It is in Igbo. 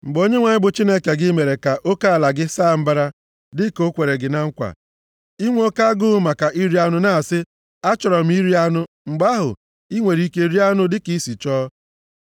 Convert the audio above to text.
Mgbe Onyenwe anyị, bụ Chineke gị mere ka oke ala gị saa mbara, dịka o kwere gị na nkwa, i nwee oke agụụ maka iri anụ na-asị, “Achọrọ m iri anụ,” mgbe ahụ, i nwere ike rie anụ dịka i si chọọ.